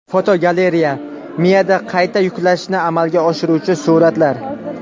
Fotogalereya: Miyada qayta yuklashni amalga oshiruvchi suratlar.